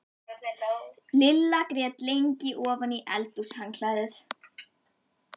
Lilla grét lengi ofan í eldhúshandklæðið.